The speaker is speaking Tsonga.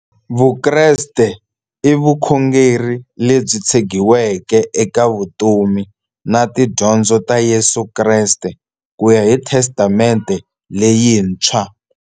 Vukreste i vukhongeri lebyi tshegiweke eka vutomi na tidyondzo ta Yesu Kreste kuya hi Testamente leyintshwa.